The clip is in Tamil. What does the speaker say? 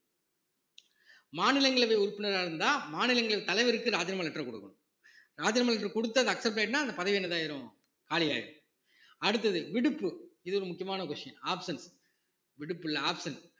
மாநிலங்களவை உறுப்பினரா இருந்தா மாநிலங்களின் தலைவருக்கு ராஜினாமா letter கொடுக்கணும் ராஜினாமா letter கொடுத்தது accepted ன்னா அந்த பதவி என்னதாயிரும் காலி ஆயிரும் அடுத்தது விடுப்பு இது ஒரு முக்கியமான questionoption விடுப்பு இல்லை option